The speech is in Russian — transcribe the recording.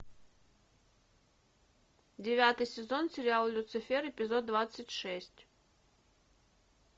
девятый сезон сериал люцифер эпизод двадцать шесть